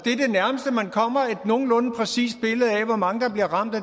nogenlunde præcist billede af hvor mange der bliver ramt af